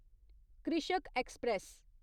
कृषक ऐक्सप्रैस